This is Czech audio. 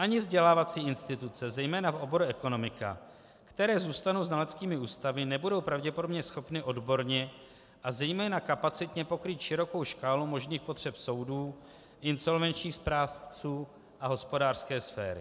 Ani vzdělávací instituce, zejména v oboru ekonomika, které zůstanou znaleckými ústavy, nebudou pravděpodobně schopny odborně a zejména kapacitně pokrýt širokou škálu možných potřeb soudů, insolvenčních správců a hospodářské sféry.